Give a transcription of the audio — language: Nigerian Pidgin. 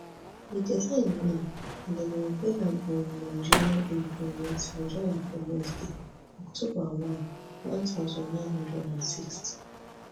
di design win and dem unveil am on nigeria independence nigeria independence day october one one thousand, nine hundred and sixty